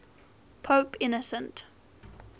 pope innocent